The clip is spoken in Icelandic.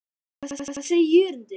Hvað segir Jörundur?